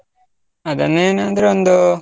ಅದನ್ನು ಏನಾದ್ರೂ ಒಂದು,